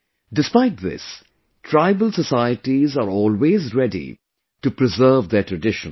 Despite this, tribal societies are always ready to preserve their traditions